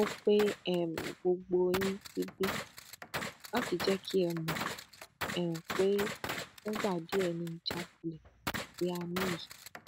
mo pe um gbogbo yín síbí láti jẹ kí ẹ mọ um pé fúngbà díẹ ni ìjákulẹ tí a ní yìí